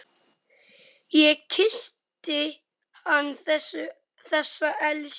Ég kyssti hann, þessa elsku.